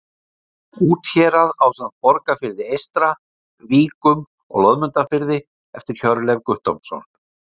Úthérað ásamt Borgarfirði eystra, Víkum og Loðmundarfirði eftir Hjörleif Guttormsson.